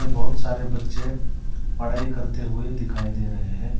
बहुत सारे बच्चे पढ़ाई करते हुए दिखाई दे रहे है।